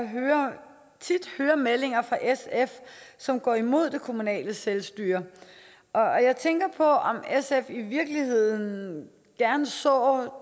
hører meldinger fra sf som går imod det kommunale selvstyre og jeg tænker på om sf i virkeligheden gerne så